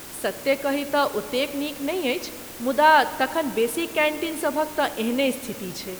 सत्ते कही तँ ओतेक नीक नहि अछि, मुदा तखन बेसी कैन्टीन सभक तँ एहने स्थिति छैक।